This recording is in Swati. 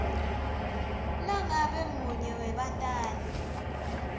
nangabe munye webatali